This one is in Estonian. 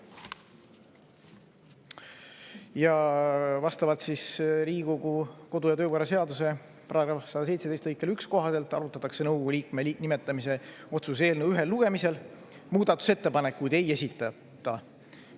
Ja vastavalt Riigikogu kodu- ja töökorra seaduse § 117 lõike 1 kohaselt arutatakse nõukogu liikme nimetamise otsuse eelnõu ühel lugemisel, muudatusettepanekuid ei esitata.